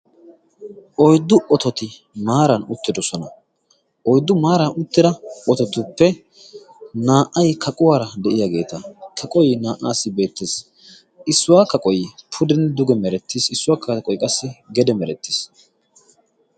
oiddu ototi maaran uttidosona. oiddu maaran uttida ototuppe naa77ai kaquwaara de7iyaageeta kaqoi naa77aassi beettees. issuwaa kaqoyi pudenne duge merettiis. issuwaa ka aqoyi qassi gede merettiis.